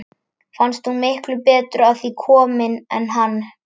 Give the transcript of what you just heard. Fannst hún miklu betur að því komin en hann.